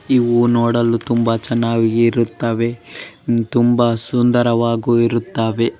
ಇವು ನೋಡಲು ತುಂಬಾ ಚೆನ್ನಾಗಿ ಇರುತ್ತವೆ ತುಂಬಾ ಸುಂದರವಾಗಿ ಇರುತ್ತಾವೇ.